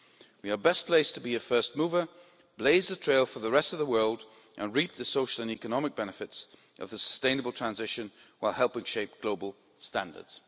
We are best placed to be a first mover, blaze a trail for the rest of the world and reap the social and economic benefits of the sustainable transition while helping to shape global standards.